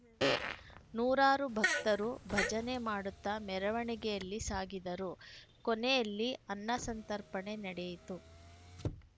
ನೂರಾರು ಭಕ್ತರು ಭಜನೆ ಮಾಡುತ್ತಾ ಮೆರವಣಿಗೆಯಲ್ಲಿ ಸಾಗಿದರು ಕೊನೆಯಲ್ಲಿ ಅನ್ನಸಂತಪರ್ಪಣೆ ನಡೆಯಿತು